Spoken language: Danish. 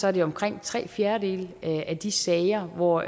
er det omkring tre fjerdedele af de sager hvor